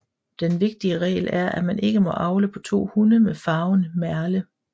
Den vigtige regl er at man ikke må avle på to hunde med farven merle